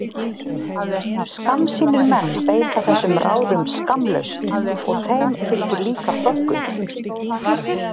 Skammsýnir menn beita þessum ráðum skammlaust og þeim fylgir líka böggull.